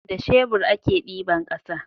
Da shebur a ke diban ƙasa